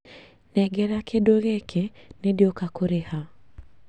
Nengera kĩndũ gĩkĩ nĩndĩũka kũrĩha